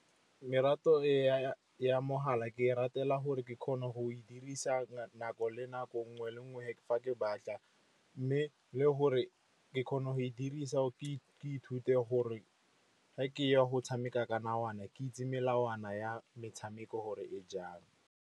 Ya mogala ke e ratela gore ke kgona go e dirisa nako le nako nngwe le nngwe fa ke batla. Mme le gore ke kgona go e dirisa ke ithute gore ge ke ya go tshameka ka namana, ke itse melawana ya metshameko gore e jang.